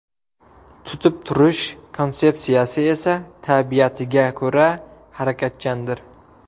Tutib turish konsepsiyasi esa tabiatiga ko‘ra harakatchandir.